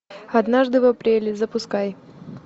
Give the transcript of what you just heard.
однажды в апреле запускай